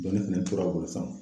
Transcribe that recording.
Dɔnni fɛnɛ tora u bolo sanfɛ.